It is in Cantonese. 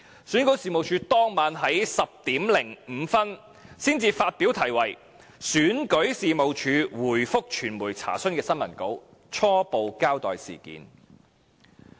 選舉事務處在當晚10時05分才發表題為"選舉事務處回覆傳媒查詢"的新聞稿，初步交代事件。